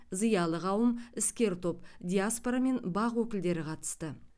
зиялы қауым іскер топ диаспора мен бақ өкілдері қатысты